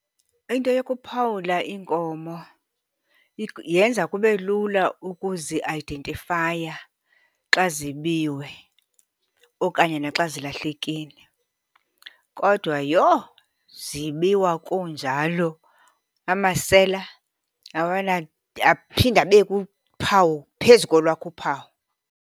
Into yokuphawula iinkomo yenza kube lula ukuzi-ayidentifaya xa zibiwe okanye naxa zilahlekile. Kodwa yho, zibiwa kunjalo. Amasela aphinda abeke uphawu phezu kolwakho uphawu.